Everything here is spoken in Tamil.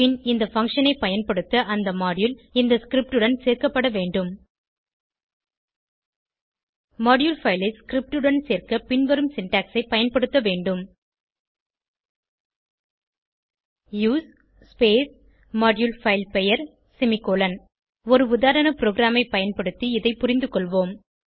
பின் இந்த பங்ஷன் ஐ பயன்படுத்த அந்த மாடியூல் இந்த ஸ்கிரிப்ட் உடன் சேர்க்கப்பட வேண்டும் மாடியூல் பைல் ஐ ஸ்கிரிப்ட் உடன் சேர்க்க பின்வரும் சின்டாக்ஸ் ஐ பயன்படுத்த வேண்டும் யூஎஸ்இ ModuleFileபெயர் செமிகோலன் ஒரு உதாரண ப்ரோகிராமை பயன்படுத்தி இதை புரிந்துகொள்வோம்